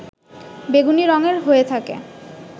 বেগুনি রং এর হয়ে থাকে